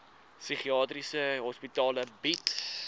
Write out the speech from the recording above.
psigiatriese hospitale bied